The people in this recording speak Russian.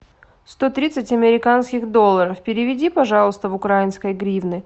сто тридцать американских долларов переведи пожалуйста в украинские гривны